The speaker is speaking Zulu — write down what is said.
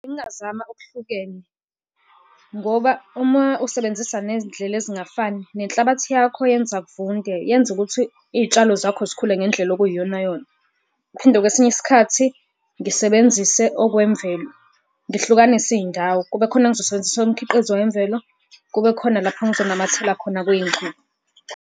Bengingazama okuhlukene, ngoba uma usebenzisa nezindlela ezingafani nenhlabathi yakho yenza kuvunde, yenza ukuthi iy'tshalo zakho zikhule ngendlela okuyiyonayona. Ngiphinde kwesinye isikhathi ngisebenzise okwemvelo. Ngihlukanise iy'ndawo kube khona engizosebenzisa umkhiqizo wemvelo, kube khona lapho engizonamathela khona .